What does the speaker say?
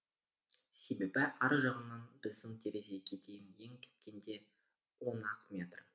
себебі ар жағынан біздің терезеге дейін ең кеткенде он ақ метр